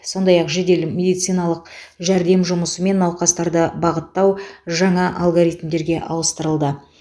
сондай ақ жедел медициналық жәрдем жұмысы мен науқастарды бағыттау жаңа алгоритмдерге ауыстырылды